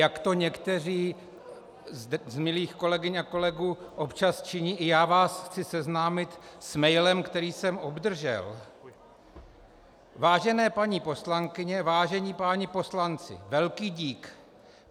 Jak to někteří z milých kolegyň a kolegů občas činí, i já vás chci seznámit s mailem, který jsem obdržel: Vážené paní poslankyně, vážení páni poslanci, velký dík.